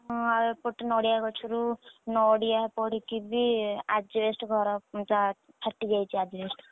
ହଁ ଆଉ ଏପଟେ ନଡିଆ ଗଛରୁ ନଡିଆ ପଡିକି ବି asbestos ଘର ଫାଟିଯାଇଛି asbestos ।